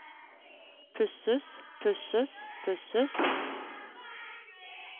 pusses pusses pusses